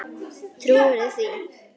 Trúirðu því?